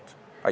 Aitäh!